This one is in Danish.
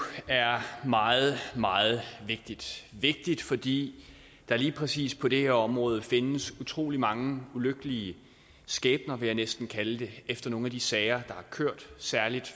er meget meget vigtigt vigtigt fordi der lige præcis på det her område findes utrolig mange ulykkelige skæbner vil jeg næsten kalde det efter nogle af de sager har kørt og særlig